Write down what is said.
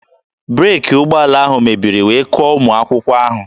Breeki ụgbọala ahụ mebiri wee kụọ ụmụ akwụkwọ ahụ